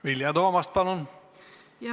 Vilja Toomast, palun!